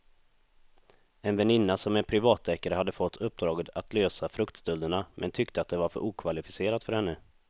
En väninna som är privatdeckare hade fått uppdraget att lösa fruktstölderna men tyckte att det var för okvalificerat för henne.